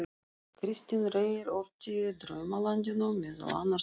Kristinn Reyr orti í Draumalandinu meðal annars um